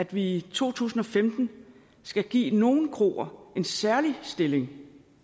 vi i to tusind og femten skulle give nogle kroer en særlig stilling